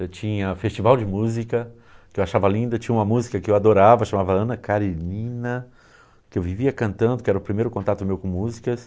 Eu tinha festival de música, que eu achava linda, tinha uma música que eu adorava, chamava Ana Karenina, que eu vivia cantando, que era o primeiro contato meu com músicas.